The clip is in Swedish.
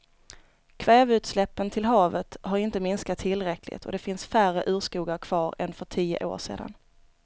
Kväveutsläppen till havet har inte minskat tillräckligt och det finns färre urskogar kvar än för tio år sedan.